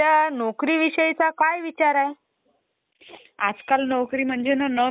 मला थोडी माहिती पाहिजे कॉम्प्युटर विषयी. मला पण थोडीफार माहिती आहे.